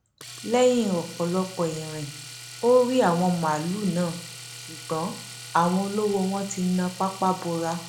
lẹyìn ọpọlọpọ irin ò rí àwọn màálùú náà ṣùgbọn àwọn olówó wọn ti na pápá bora